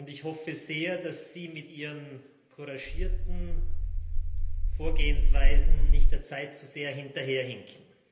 Ich hoffe sehr, dass Sie mit Ihren couragierten Vorgehensweisen der Zeit nicht zu sehr hinterherhinken.